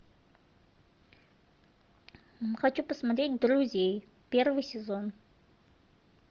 хочу посмотреть друзей первый сезон